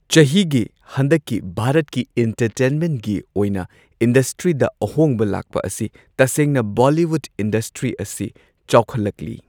ꯆꯍꯤꯒꯤ ꯍꯟꯗꯛꯀꯤ ꯚꯥꯔꯠꯀꯤ ꯏꯟꯇꯔꯇꯦꯟꯃꯦꯟꯒꯤ ꯑꯣꯏꯅ ꯏꯟꯗꯁꯇ꯭ꯔꯤꯗ ꯑꯍꯣꯡꯕ ꯂꯥꯛꯄ ꯑꯁꯤ ꯇꯁꯦꯡꯅ ꯕꯣꯂꯤꯋꯨꯗ ꯏꯟꯗꯁꯇ꯭ꯔꯤ ꯑꯁꯤ ꯆꯥꯎꯈꯠꯂꯛꯂꯤ꯫